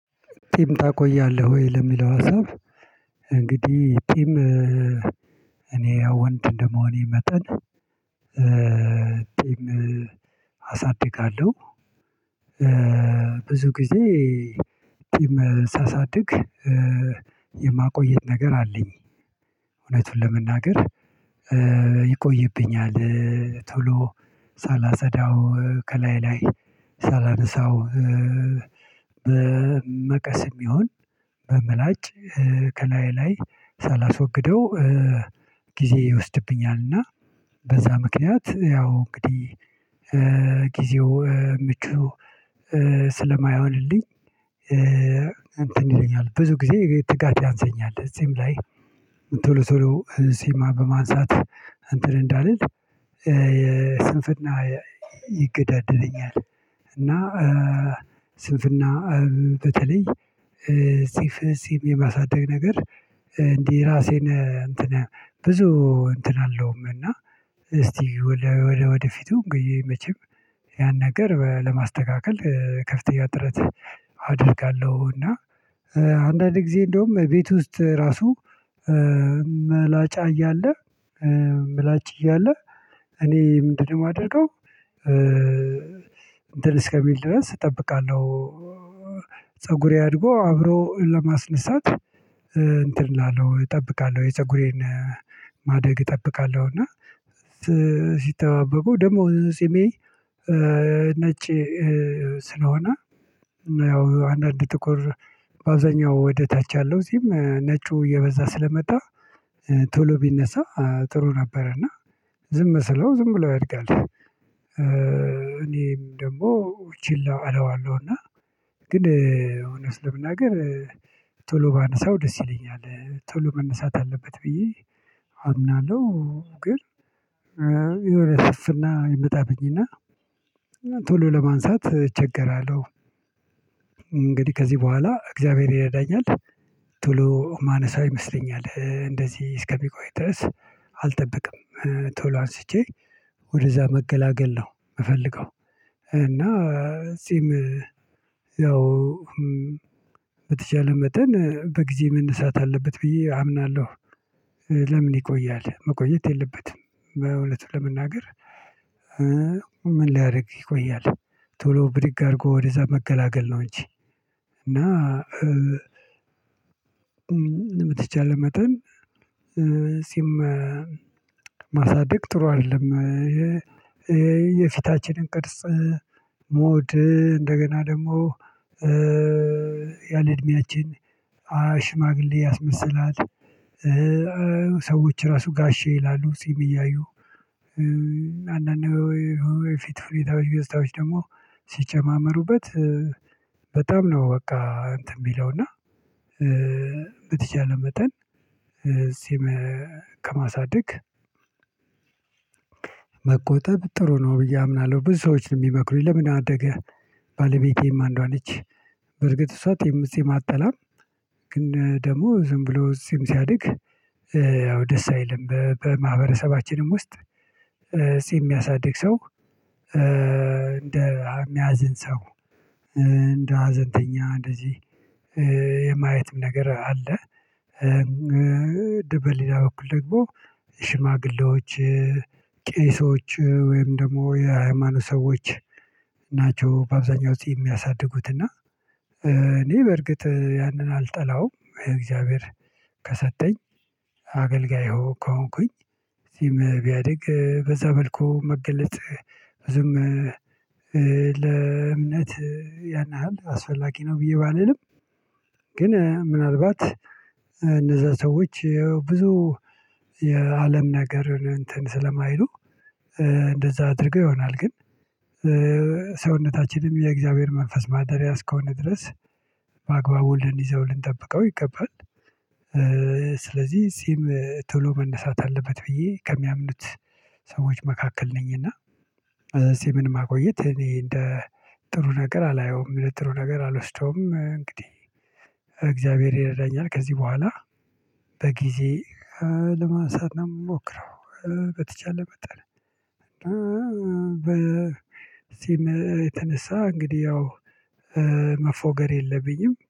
ጢም ታቆያለህ ወይ? ለሚለው ሀሳብ እንግዲህ ጢም እኔ ያው ወንድ እንደመሆኔ መጠን አሳድጋለሁ ብዙ ጊዜ ጢም ሳሳድግ የማቆየት ነገር አለኝ እውነቱን ለመናገር ይቆይብኛል። ቶሎ ሳላፀዳው ከላይ ላይ ሳላነሳው በመቀስም ይሁን በምላጭ ከላይ ላይ ሳላስወግደው ጊዜ ይወስድብኛልና እና በዛ ምክንያት ያው እንግዲህ ጊዜው ምቹ ስለማይሆንልኝ። እንትን ይለኛል ብዙ ጊዜ ትጋት ያንሰኛል እዚህም ላይ ቶሎ ቶሎ ጢም በማንሳት እንትን እንዳልል የስንፍና ይገዳደረኛል። እና ስንፍና በተለይ ጢም የማሳደግ ነገር እንዲህ ራሴን እንትን ብዙ እንትን አልለውም እና እስቲ ወደፊቱ እንግዲህ መቼም ያን ነገር ለማስተካከል ከፍተኛ ጥረት አደርጋለሁ። እና አንዳንድ ጊዜ እንደውም ቤት ውስጥ ራሱ መላጫ እያለ ምላጭ እያለ እኔ ምንድነው የማደርገው ማደርገው? እንትን እስከሚል ድረስ እጠብቃለሁ ፀጉሬ አድርጎ አብሮ ለማስነሳት እንትን እላለሁ እጠብቃለሁ የፀጉሬን ማደግ እጠብቃለሁ። እና ሲተባበቁ ደግሞ ፂሜ ነጭ ስለሆነ አንዳንድ ጥቁር በአብዛኛው ወደ ታች ያለው ጺም ነጩ እየበዛ ስለመጣ ቶሎ ቢነሳ ጥሩ ነበረ እና ዝም ስለው ዝም ብሎ ያድጋል። እኔም ደግሞ ቺላ እለዋለሁ እና ግን እውነት ለመናገር ቶሎ ባነሳው ደስ ይለኛል ቶሎ መነሳት አለበት ብዬ አምናለሁ። ግን የሆነ ስንፍና ይመጣብኝና ቶሎ ለማንሳት እቸገራለሁ። እንግዲህ ከዚህ በኋላ እግዚአብሔር ይረዳኛል ቶሎ ማነሳው ይመስለኛል እንደዚህ እስከሚቆይ ድረስ አልጠብቅም ቶሎ አንስቼ ወደዛ መገላገል ነው የምፈልገው። እና ጺም ያው በተቻለ መጠን በጊዜ መነሳት አለበት ብዬ አምናለሁ። ለምን ይቆያል መቆየት የለበትም በእውነት ለመናገር ምን ሊያደርግ ይቆያል? ቶሎ ብድግ አድርጎ ወደዛ መገላገል ነው እንጂ እና በሚቻል መጠን ጺም ማሳደግ ጥሩ አይደለም። የፊታችንን ቅርጽ ሞድ እንደገና ደግሞ ያለ እድሜያችን ሽማግሌ ያስመሰላል። ሰዎች ራሱ ጋሼ ይላሉ ጺም እያዩ አንዳንድ ወይ ፊታዊ ገፀታዎች ደግሞ ሲጨማመሩበት በጣም ነው በቃ እንትን የሚለው እና በተቻለ መጠን ጺም ከማሳደግ መቆጠብ ጥሩ ነው ብዬ አምናለሁ። ብዙ ሰዎች ነው የሚመክሩኝ ለምን አደገ? ባለቤቴም አንዷ ነች በርግጥ እሷ ጺም አጥላም ግን ደግሞ ዝም ብሎ ጺም ሲያድግ ያው ደስ አይልም በማህበረሰባችንም ውስጥ ጺም የሚያሳድግ ሰው እንደ የሚያዝን ሰው እንደ ሀዘንተኛ እንደዚህ የማየትም ነገር አለ። በሌላ በኩል ደግሞ ሽማግሌዎች ቄሶች ወይም ደግሞ የሃይማኖት ሰዎች ናቸው በአብዛኛው ውጪ የሚያሳድጉት እና። እኔ በርግጥ ያንን አልጠላውም እግዚአብሔር ከሰጠኝ አገልጋይ ከሆንኩኝ ጺም ቢያድግ በዛ መልኩ መገለጥ ዝም ለእምነት ያን ያህል አስፈላጊ ነው ብዬ ባልልም ግን ምናልባት እነዛ ሰዎች የብዙ የአለም ነገርን እንትን ስለማይሉ እንደዛ አድርገው ይሆናል ግን ሰውነታችንም የእግዚአብሔር መንፈስ ማደርያ እስከሆነ ድረስ በአግባቡ ልንይዘው ልንጠብቀው ይገባል። ስለዚህ እዚህም ቶሎ መነሳት አለበት ብዬ ከሚያምኑት ሰዎች መካከል ነኝ እና ጺምን ማቆየት እኔ እንደ ጥሩ ነገር አላየውም ለጥሩ ነገር አልወስደውም። እንግዲህ እግዚአብሔር ይረዳኛል ከዚህ በኋላ በጊዜ ለማንሳት ነው ምሞክረው። በተቻለ መጠን በፂም የተነሳ እንግዲህ ያው መፎገር የለብኝም